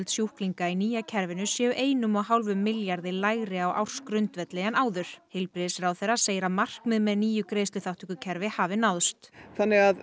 sjúklinga í nýja kerfinu séu einum og hálfum milljarði lægri á ársgrundvelli en áður heilbrigðisráðherra segir að markmið með nýju greiðsluþátttökukerfi hafi náðst þannig að